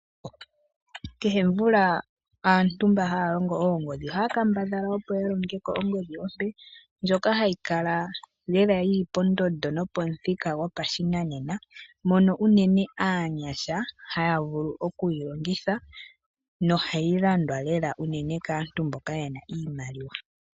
Kehe omvula aantu mba haya longo oongodhi ohaya kambadhala opo ya longe ko ongodhi ompe ndjono hayi kala lela yi li pondondo nopomuthika gopashinanena, mono unene aanyasha haya vulu okuyi longitha nohayi landwa lela kaantu mboka ye na oshimaliwa.